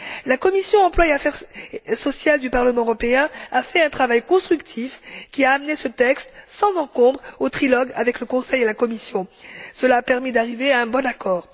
La commission de l'emploi et des affaires sociales du Parlement européen a mené un travail constructif qui a amené ce texte sans encombre au trilogue avec le Conseil et la Commission. Cela a permis d'arriver à un bon accord.